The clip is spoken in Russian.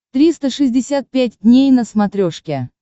триста шестьдесят пять дней на смотрешке